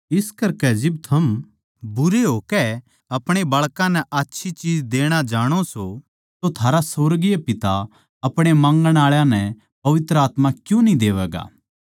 इस करकै जिब थम बुरे होकै अपणे बाळकां नै आच्छी चीज देणा जाणो सों तो थारा सुर्गीय पिता अपणे माँगण आळा नै पवित्र आत्मा क्यूँ न्ही देवैगा